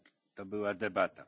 To była debata.